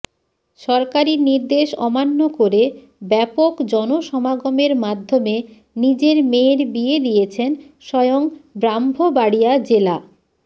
সরকারি নির্দেশ অমান্য করে ব্যাপক জনসমাগমের মাধ্যমে নিজের মেয়ের বিয়ে দিয়েছেন স্বয়ং ব্রাহ্মবাড়িয়া জেলা